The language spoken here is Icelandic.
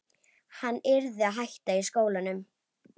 Hann yrði að hætta í skólanum!